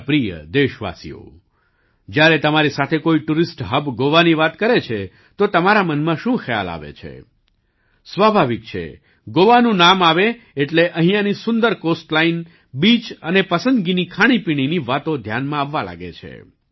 મારા પ્રિય દેશવાસીઓ જ્યારે તમારી સાથે કોઈ ટુરિસ્ટ હબ ગોવાની વાત કરે છે તો તમારા મનમાં શું ખ્યાલ આવે છે સ્વાભાવિક છે ગોવાનું નામ આવે એટલે અહીંયાની સુંદર કોસ્ટલાઈન બીચ અને પસંદગીની ખાણીપીણીની વાતો ધ્યાનમાં આવવા લાગે છે